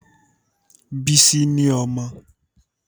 Bísí ni ọmọ